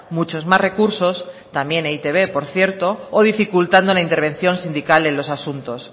muchos más recursos también e i te be por cierto o dificultando la intervención sindical en los asuntos